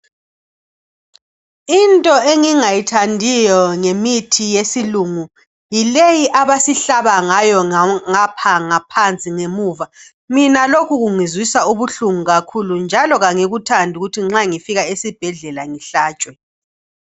Into engingayithandiyo ngemithi yesilungu yileyi abasihlaba ngayo ngapha ngaphansi ngemuva. Mina lokhu kungizwisa ubuhlungu kakhulu njalo kangikuthandi ukuthi nxa ngifika esibhedlela ngihlatshwe.